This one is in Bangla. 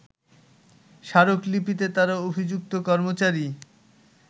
স্মারকলিপিতে তারা অভিযুক্ত কর্মচারী